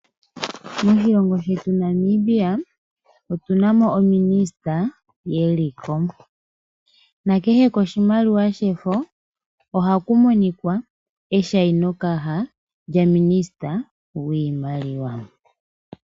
Moshilongo shetu Namibia otuna mo ominista yeliko. Kehe koshimaliwa shefo ohaku monika eshainokaha lya misista gwiimaliwa.